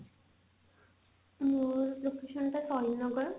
ମୋ locationଟା ସହିଦ ନଗର